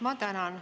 Ma tänan.